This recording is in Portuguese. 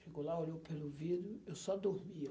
Chegou lá, olhou pelo vidro, eu só dormia.